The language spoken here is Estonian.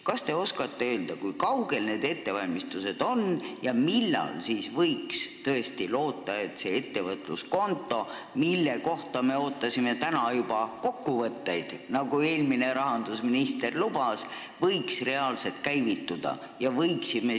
Kas te oskate öelda, kui kaugel need ettevalmistused on ja millal võiks loota, et see ettevõtluskonto, mille kohta me täna juba kokkuvõtteid ootasime, nagu eelmine rahandusminister lubas, reaalselt käivitub?